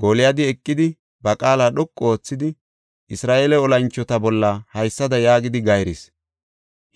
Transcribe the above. Gooliyadi eqidi ba qaala dhoqu oothidi, “Isra7eele olanchota bolla haysada yaagidi gayrees;